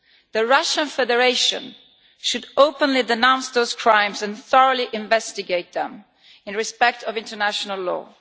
The Russian Federation should openly denounce those crimes and thoroughly investigate them in respect of international law.